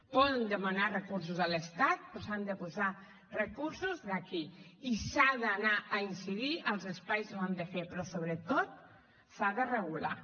poden demanar recursos a l’estat però s’han de posar recursos d’aquí i s’ha d’anar a incidir als espais on ho han de fer però sobretot s’ha de regular